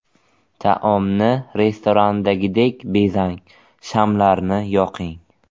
Taomni restorandagidek bezang, shamlarni yoqing.